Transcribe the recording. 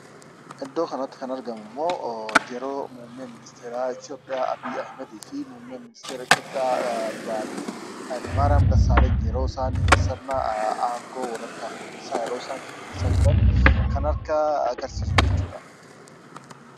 Iddoo kanatti kan argamummoo yeroo muummeen ministeera Itiyoophiyaa Abiy Ahmedii fi muummee ministeera Itiyoophiyaa duraanii Hayilemaariyam Dessaalenyi yeroo isaan sirna aangoo wal harkaa fuudhinsaa yeroo isaan geggeessaa jiran kan harkaa agarsiisu jechuudha.